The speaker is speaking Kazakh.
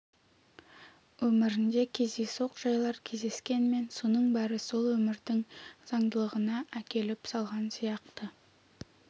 өмірінде кездейсоқ жайлар кездескенмен соның бәрі сол өмірдің заңдылығына әкеліп салған сияқты